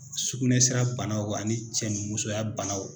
Sugunɛsira bana ani ni cɛnimusoya bana